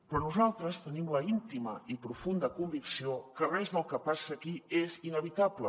però nosaltres tenim l’íntima i profunda convicció que res del que passa aquí és inevitable